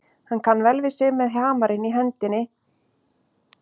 Hann kann vel við sig með hamarinn í annarri hendi og nagla í hinni.